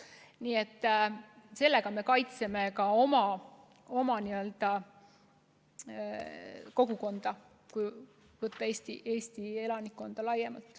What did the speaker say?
Nii et me kaitseme ka oma kogukonda, Eesti elanikkonda laiemalt.